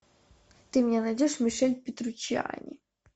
ты мне найдешь мишель петручиани